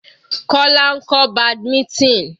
Kola ń kọ́ badminton.